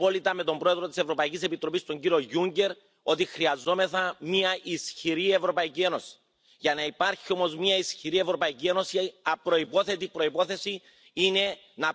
Voorzitter, ik ben heel blij dat u Europese oplossingen aanbiedt voor de uitdagingen waar we voor staan. Uw voorstellen vandaag waren ambitieus, maar soms mogen we nóg ambitieuzer en nóg concreter zijn. Ik geef u graag enkele aanbevelingen mee.